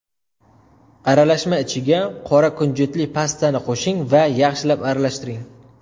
Aralashma ichiga qora kunjutli pastani qo‘shing va yaxshilab aralashtiring.